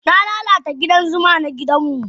Na lalata gidan zuma na gidanmu.